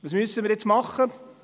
Was müssen wir jetzt machen?